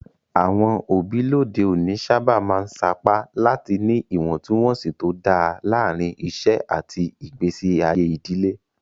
Àwọn òbí lóde òní sábà máa ń sapá láti ní ìwọ̀ntúnwọ̀nsì tó dáa láàárín iṣẹ́ àti ìgbésí ayé ìdílé.